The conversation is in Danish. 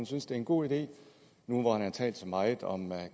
synes det er en god idé nu hvor han har talt så meget om